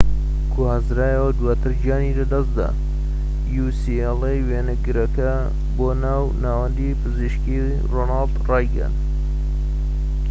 وێنەگرەکە بۆ ناوەندی پزیشکی ڕۆناڵد ڕیگان ucla گوازرایەوە و دواتر گیانی لەدەستدا‎